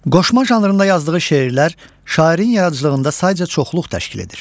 Qoşma janrında yazdığı şeirlər şairin yaradıcılığında sayca çoxluq təşkil edir.